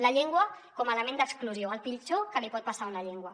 la llengua com a element d’exclusió el pitjor que li pot passar a una llengua